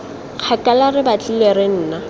kgakala re batlile re nna